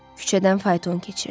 Küçədən fayton keçirdi.